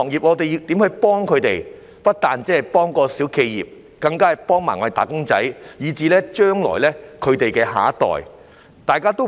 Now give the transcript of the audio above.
我們不單要幫助小企業，更要幫助"打工仔"，以至他們的下一代。